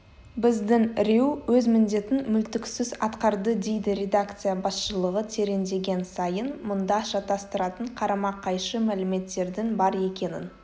біздің рью өз міндетін мүлтіксіз атқардыдейді редакция басшылығы тереңдеген сайын мұнда шатастыратын қарама-қайшы мәліметтердің бар екенін